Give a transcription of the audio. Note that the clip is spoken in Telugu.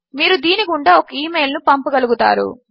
మీరు దీని గుండా ఒక ఇమెయిల్ ను పంపగలుగుతారు